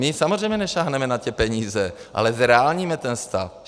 My samozřejmě nesáhneme na ty peníze, ale zreálníme ten stav.